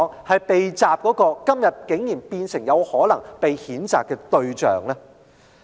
為何今天會成為有可能被譴責的對象呢？